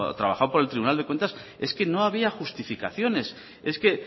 trabajado por el tribunal de cuentas es que no había justificaciones es que